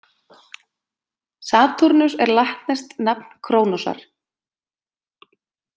Satúrnus er latneskt nafn Krónosar.